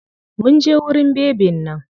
Mun je wurin bebin nan.